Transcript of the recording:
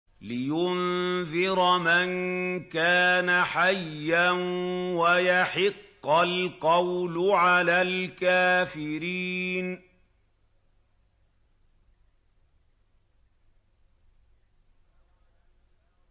لِّيُنذِرَ مَن كَانَ حَيًّا وَيَحِقَّ الْقَوْلُ عَلَى الْكَافِرِينَ